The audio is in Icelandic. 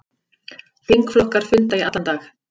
Þingflokkar funda í allan dag